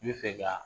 I bɛ fɛ ka